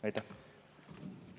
Aitäh!